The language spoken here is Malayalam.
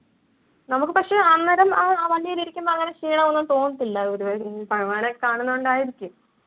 നമുക്ക് പക്ഷെ അന്നേരം ആ വണ്ടിയിലിരിക്കുമ്പോ അങ്ങനെ ക്ഷീണം ഒന്നും തോന്നത്തില്ല പൊതുവെ ഇനി ഭഗവാനെ കാണുന്നത്കൊണ്ടായിരിക്കും